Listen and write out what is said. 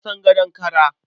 Na san gadon kara.